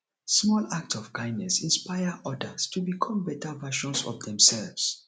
small acts of kindness inspire odas to become beta versions of demselves